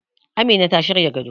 Amina ta shirya gado